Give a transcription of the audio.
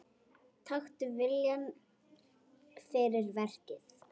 Taktu viljann fyrir verkið.